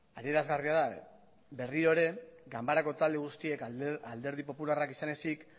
adierazgarria da berriro ere ganbarako talde guztiek alderdi popularrak izan ezik